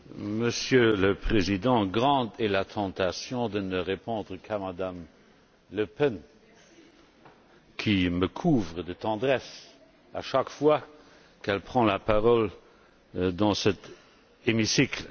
Monsieur le Président, grande est la tentation de ne répondre qu'à Mme Le Pen, qui me couvre de tendresse chaque fois qu'elle prend la parole dans cet hémicycle.